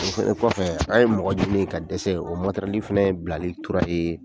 O fɛnɛ kɔfɛ , an ye mɔgɔ ɲini ka dɛsɛ o fɛnɛ bilalen tora yen